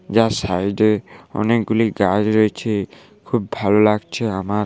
যার সাইডে এ অনেকগুলি গাছ রয়েছে খুব ভালো লাগছে আমার।